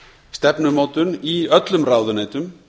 stefnumótun í öllum ráðuneytum